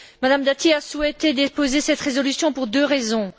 Mme Dati a souhaité déposer cette résolution pour deux raisons.